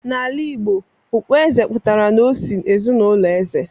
n'ala Igbo, okpueze pụtara n'osi ezinụlọ eze